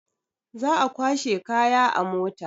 Za a kwashe kaya a mota.